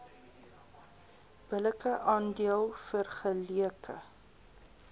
billike aandeel vergeleke